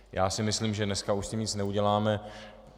Já si myslím, že dneska už s tím nic neuděláme.